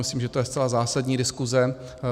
Myslím, že to je zcela zásadní diskuse.